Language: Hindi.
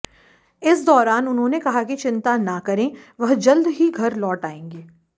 इस दौरान उन्होंने कहा कि चिंता ना करें वह जल्द ही घर लौट आएंगे